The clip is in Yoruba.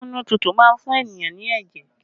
Amunututu má ń fún ènìyàn ní ẹ̀jẹ̀